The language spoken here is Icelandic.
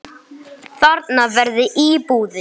Þarna verði íbúðir.